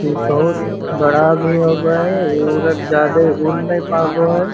इ बहुत बड़ा भी होव हइ ई उड जादे उड़ नय पाव हई |